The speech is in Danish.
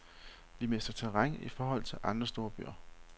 Vi mister terræn i forhold til andre storbyer.